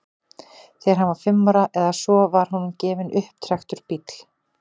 þegar hann var fimm ára eða svo var honum gefinn upptrekktur bíll